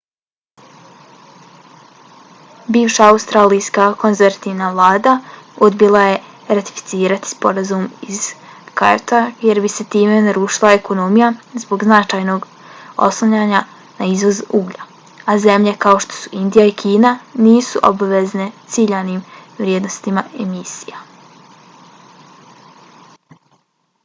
bivša australijska konzervativna vlada odbila je ratificirati sporazum iz kyota jer bi se time narušila ekonomija zbog značajnog oslanjanja na izvoz uglja a zemlje kao što su indija i kina nisu obavezane ciljanim vrijednostima emisija